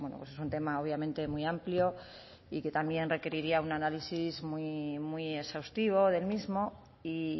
pues es un tema obviamente muy amplio y que también requeriría un análisis muy muy exhaustivo del mismo y